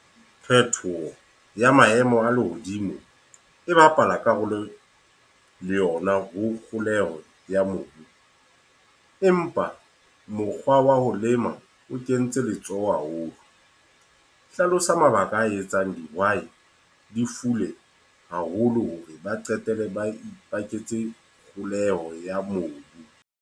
Phetoho ya maemo a lehodimo, e bapala karolo le yona ho kgoholeho ya mobu. Empa mokgwa wa ho lema o kentse letsoho haholo. Hlalosa mabaka a etsang dihwai di fule haholo hore ba qetelle ba ipaketse kgoleho ya mobu.